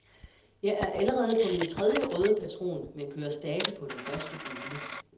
Jeg er allerede på min tredje røde patron, men kører stadig på den første gule.